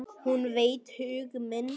Hún veit hug minn.